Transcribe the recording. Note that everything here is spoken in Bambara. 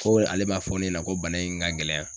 Ko ale b'a fɔ ne ɲɛna ko bana in ka gɛlɛn